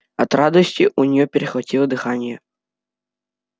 от радости у нее перехватило дыхание